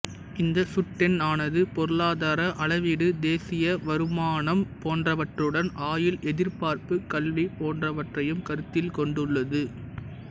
இந்தச் சுட்டெண்ணானது பொருளாதார அளவீடு தேசிய வருமானம் போன்றவற்றுடன் ஆயுள் எதிர்பார்ப்பு கல்வி போன்றவற்றையும் கருத்தில் கொண்டுள்ளது